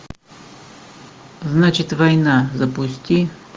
значит война запусти